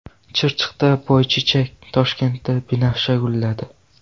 Chirchiqda boychechak, Toshkentda binafsha gulladi.